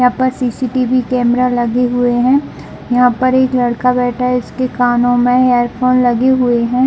यहाँ पर C. C. TV camera लग हुए है यहाँ पर एक लकड़ा बैठा है इस कानो मे ईरफ़ोन लगे हुए है।